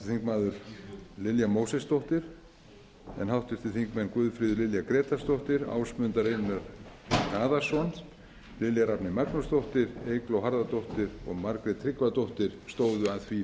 háttvirtir þingmenn lilja mósesdóttir en háttvirtir þingmenn guðfríður lilja grétarsdóttir ásmundur einar daðason lilja rafney magnúsdóttir eygló harðardóttir og margrét tryggvadóttir stóðu að því